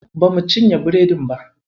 Bamu cinye biredin ba.